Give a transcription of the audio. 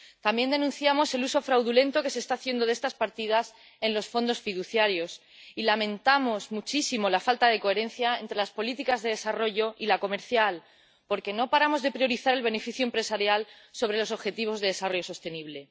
También denunciamos el uso fraudulento que se está haciendo de estas partidas en los fondos fiduciarios y lamentamos muchísimo la falta de coherencia entre las políticas de desarrollo y la comercial, porque no paramos de priorizar el beneficio empresarial sobre los objetivos de desarrollo sostenible.